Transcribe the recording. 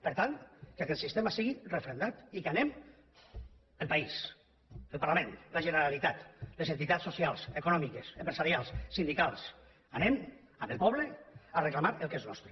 per tant que aquest sistema sigui referendat i que anem el país el parlament la generalitat les entitats socials econòmiques empresarials sindicals anem amb el poble a reclamar el que és nostre